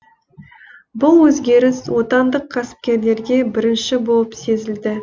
бұл өзгеріс отандық кәсіпкерлерге бірінші болып сезілді